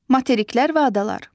Materiklər və adalar.